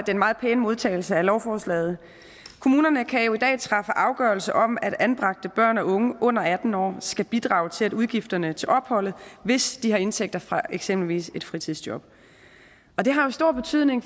den meget pæne modtagelse af lovforslaget kommunerne kan jo i dag træffe afgørelse om at anbragte børn og unge under atten år skal bidrage til udgifterne til opholdet hvis de har indtægter fra eksempelvis et fritidsjob og det har jo stor betydning